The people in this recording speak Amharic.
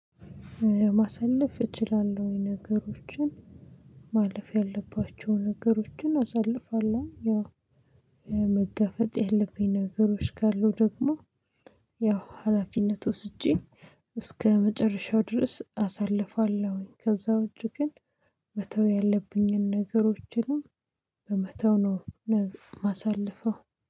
ማሳለፍ እችላለሁ። ነገሮችን ማለፍ ያለባቸውን ነገሮችን አሳልፋለሁኝ። ያው መጋፈጥ ያለብኝ ነገሮች ካሉ ደግሞ ያው ሀላፊነት ወስጄ እስከመጨረሻው ድረስ አሳልፋለሁኝ። ከዛ ወጭ ግን መተው ያለብኝን ነገሮችንም በመተው ነው ማሳለፈው።